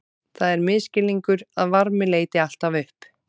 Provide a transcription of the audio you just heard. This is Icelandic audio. Það er misskilningur að varmi leiti alltaf upp.